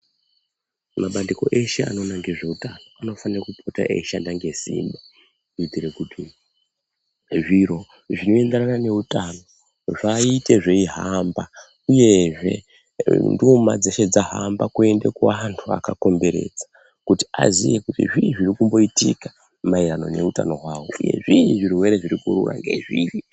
Mabandiko eshe anoona ngezveutano anofanire kupota eyishanda ngesimba kuitire kuti zviro zvinoenderana neutano vaite zveihamba uyezve ndima dzeshe dzahamba kuende kuvantu veshe vakakomberedza kuti azive kuti zvii zviri kumboitika maererano noutano hwavo kuti zvii zvirwere zviri kurova, ngezvii?